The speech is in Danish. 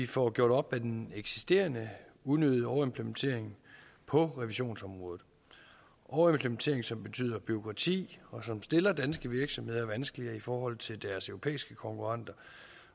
får gjort op med den eksisterende unødige overimplementering på revisionsområdet overimplementering som betyder bureaukrati og som stiller danske virksomheder vanskeligere i forhold til deres europæiske konkurrenter